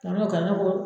Kadɔw ka nakɔ